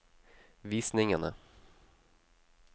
visningene